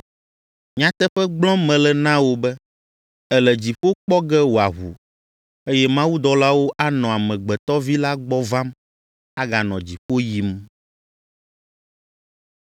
Nyateƒe gblɔm mele na wò be, èle dziƒo kpɔ ge wòaʋu, eye mawudɔlawo anɔ Amegbetɔ Vi la gbɔ vam, aganɔ dziƒo yim.”